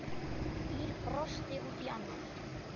Ýr brosti út í annað.